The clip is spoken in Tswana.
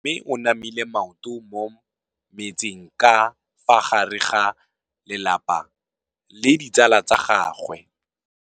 Mme o namile maoto mo mmetseng ka fa gare ga lelapa le ditsala tsa gagwe.